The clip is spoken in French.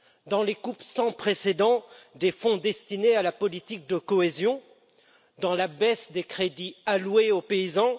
Dans les coupes sans précédent des fonds destinés à la politique de cohésion? Dans la baisse des crédits alloués aux paysans?